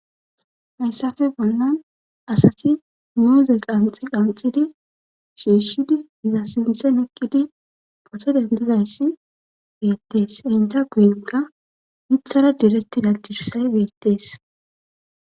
Hayssafe bollan asati muoze qanxi qanxidi shiishshidi iza sinthen ekkidi poto dendizayssi beettees inta guyinka mithara diretti dadirsay beettees.